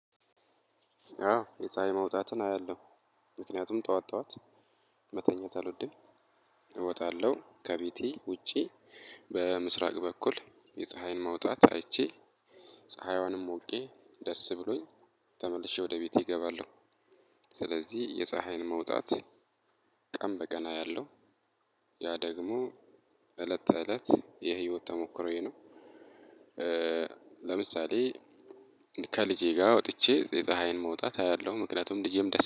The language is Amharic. አዎ የፀሀይ መውጣትን አያለሁ ምክንያቱም ጠዋት ጠዋት መተኛት አልወድም እወጣለሁ ከቤቴ ውጪ በምስራቅ በኩል የፀሀይን መውጣት አይቼ ፀሀይዋንም ሞቄ ደስ ብሎኝ ተመልሼ ወደ ቤቴ እገባለሁ። ስለዚህ የፀሀይን መውጣት ቀን በቀን አያለው ያ ደግሞ እለት ተእለት የህይወት ተሞክሮዬ ነው። ለምሳሌ ከልጄ ጋር ወጥቼ የፀሀይን መውጣት አያለሁ ምክንያቱም ልጀም ደስ